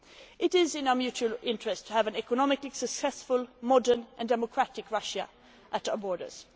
It is in our economic interests to have an economically successful, modern and democratic Russia at our borders.